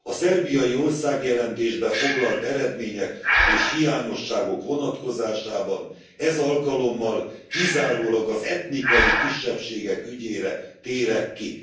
A szerbiai országjelentésbe foglalt eredmények és hiányosságok vonatkozásában ez alkalommal kizárólag az etnikai kisebbségek ügyére térek ki.